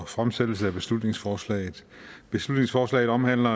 fremsættelsen af beslutningsforslaget beslutningsforslaget omhandler